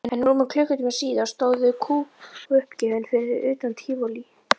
En rúmum klukkutíma síðar stóðu þau kúguppgefin fyrir utan Tívolí.